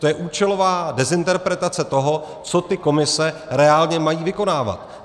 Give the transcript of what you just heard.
To je účelová dezinterpretace toho, co ty komise reálně mají vykonávat.